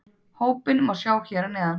Hópinn má sjá hér að neðan